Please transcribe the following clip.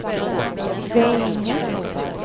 Veinge